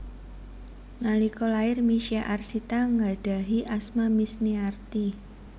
Nalika lair Misye Arsita nggadhahi asma Misniarti